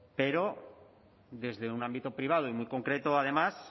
pero desde un ámbito privado y muy concreto además